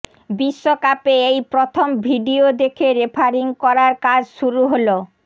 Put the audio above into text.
বিশ্বকাপে এই প্রথম ভিডিও দেখে রেফারিং করার কাজ শুরু হল